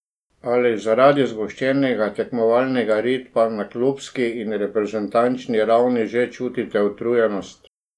Ali zaradi zgoščenega tekmovalnega ritma na klubski in reprezentančni ravni že čutite utrujenost?